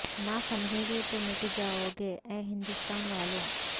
نہ سمجھو گے تو مٹ جائو گے اے ہندوستان والو